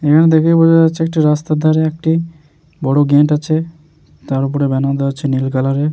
এখানে দেখায় বোঝা যাচ্ছে একটি রাস্তার ধারে একটি বড় গেট আছে তার ওপরে ব্যানার দেওয়া আছে নীল কালার -এর ।